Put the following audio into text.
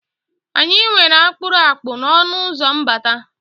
Anyị nwere akpụrụakpụ n' ọnụụzọ mbata.